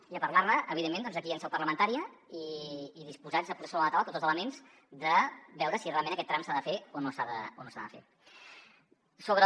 i a parlar ne evidentment doncs aquí en seu parlamentària i disposats a posar sobre la taula tots els elements de veure si realment aquest tram s’ha de fer o no s’ha de fer